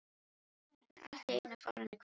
Hann er allt í einu farinn að hvísla.